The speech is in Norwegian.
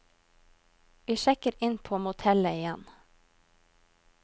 Vi sjekker inn på motellet igjen.